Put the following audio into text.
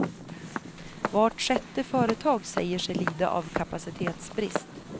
Vart sjätte företag säger sig lida av kapacitetsbrist.